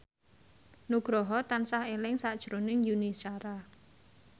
Nugroho tansah eling sakjroning Yuni Shara